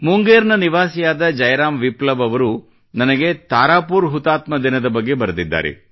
ಮುಂಗೇರ್ ನ ನಿವಾಸಿಯಾದ ಜಯರಾಮ್ ವಿಪ್ಲವ್ ಅವರು ನನಗೆ ತಾರಾಪುರ್ ಹುತಾತ್ಮ ದಿನದ ಬಗ್ಗೆ ಬರೆದಿದ್ದಾರೆ